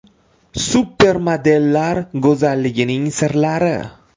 Supermodellar go‘zalligining sirlari.